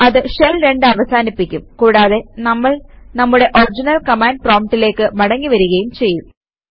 അത് ഷെൽ 2 അവസാനിപ്പിക്കും കൂടാതെ നമ്മൾ നമ്മുടെ ഒറിജിനൽ കമാൻഡ് പ്രോംപ്റ്റിലേക്ക് മടങ്ങി വരികയും ചെയ്യും